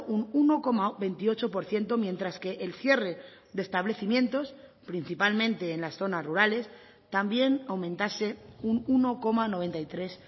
un uno coma veintiocho por ciento mientras que el cierre de establecimientos principalmente en las zonas rurales también aumentase un uno coma noventa y tres